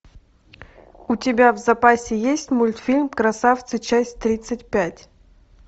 у тебя в запасе есть мультфильм красавцы часть тридцать пять